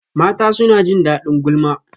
Mata suna jin daɗin gulma